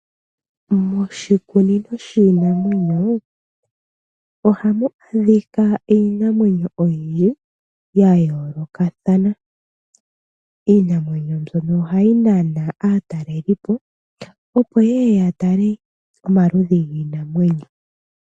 Moshikunino shiinamwenyo ohamu adhika iinamwenyo oyindji ya yoolokathana. Iinamwenyo mbyono ohayi nana aatalelipo opo yeye yatale omaludhi giinamwenyo.